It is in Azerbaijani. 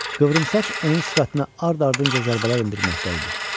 Qıvrımsaç onun sifətinə ard-ardınca zərbələr endirməkdə idi.